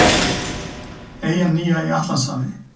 Eyjan nýja í Atlantshafi.